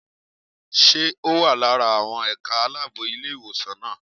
Ṣé ó wà lára àwọn ẹ̀ka aláàbò ilé ìwé náà?